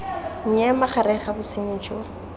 nnye magareng ga bosenyi jo